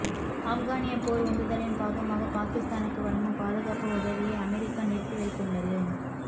ஆப்கானிய போர் உந்துதலின் பாகமாக பாகிஸ்தானுக்கு வழங்கும் பாதுகாப்பு உதவியை அமெரிக்கா நிறுத்தி வைத்துள்ளது